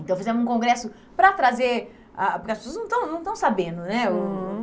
Então, fizemos um congresso para trazer, ah porque as pessoas não estão não estão sabendo, né? Uhum.